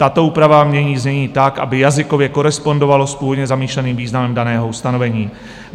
Tato úprava mění znění tak, aby jazykově korespondovalo s původně zamýšleným významem daného ustanovení.